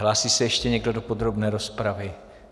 Hlásí se ještě někdo do podrobné rozpravy?